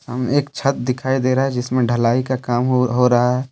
सामने एक छत दिखाई दे रहा है जिसमें ढलाई का काम हो हो रहा है ।